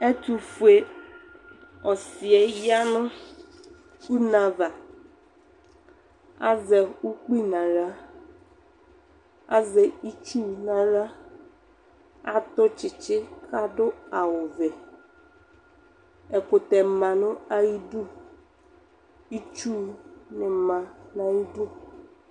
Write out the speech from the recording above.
Ɛtʋ fue ɔsɩ ya nʋ une avaAzɛ ukpi naɣla, azɛ itsu n' aɣla ,atʋ tsɩtsɩ kadʋ awʋƐkʋtɛ ma nʋ ayidu, itsu nɩ ma nayidu